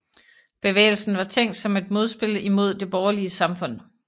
Bevægelsen var tænkt som et modspil imod det borgerlige samfund